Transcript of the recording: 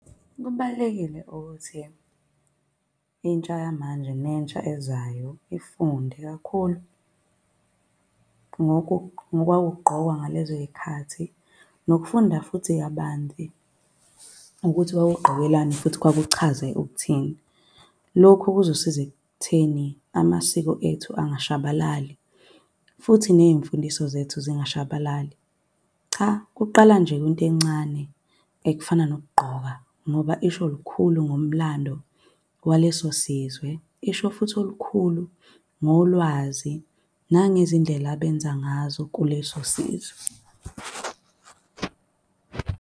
Kubalulekile ukuthi intsha yamanje nentsha ezayo ifunde kakhulu ngokwakugqokwa ngalezoy'khathi, nokufunda futhi kabanzi ukuthi kwakugqokwelani futhi kwakuchaze ukuthini. Lokhu kuzosiza ekutheni amasiko ethu angashabalali futhi ney'mfundiso zethu zingashabalali. Cha kuqala nje kwinto encane, ekufana nokugqoka ngoba isho lukhulu ngomlando waleso sizwe. Isho futhi olukhulu ngolwazi nangezindlela abenza ngazo kuleso sizwe.